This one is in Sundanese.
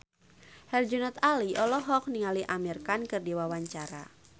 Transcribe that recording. Herjunot Ali olohok ningali Amir Khan keur diwawancara